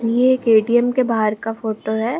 ये एक ए.टी.एम. के बाहर का फोटो है।